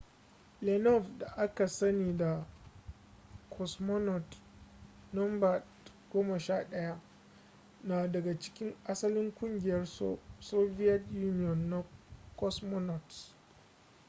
leonov da aka sani da cosmonaut no 11 na daga cikin asalin ƙungiyar soviet union ta cosmonauts